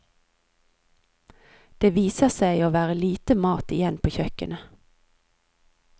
Det viser seg å være lite mat igjen på kjøkkenet.